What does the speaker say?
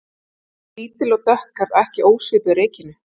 Lítil og dökkhærð og ekki ósvipuð Regínu